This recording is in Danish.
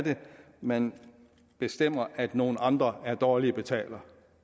man bestemmer at nogle andre er dårlige betalere